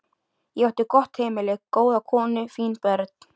Ég átti gott heimili, góða konu, fín börn.